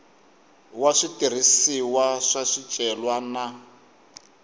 wa switirhisiwa swa swicelwa na